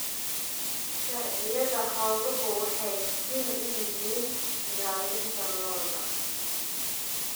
Sharciyada xooluhu waxay muhiim u yihiin ilaalinta lo'da.